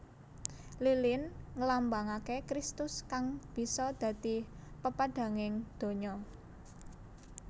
Lilin nglambangaké Kristus kang bisa dadi pepadhanging donya